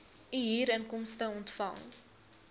u huurinkomste ontvang